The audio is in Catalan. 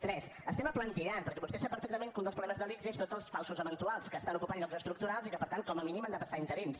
tres estem aplantillant perquè vostè sap perfectament que un dels problemes de l’ics són tots els falsos eventuals que estan ocupant llocs estructurals i que per tant com a mínim han de passar a interins